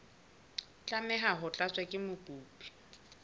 tlameha ho tlatswa ke mokopi